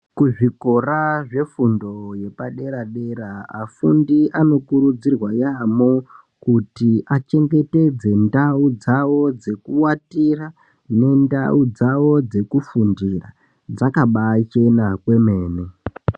Kuzvikora zvefundo yepadera dera afundi anokurudzirwa yambo kuti achengetedze ndau dzawo dzekuatira nendau dzawo dzekufundira dzakabachena kwemene.